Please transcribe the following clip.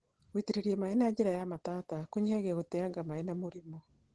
gũitĩrĩria maĩ na njira ya matata kũnyihagia gũteanga maĩ na mĩrimũ.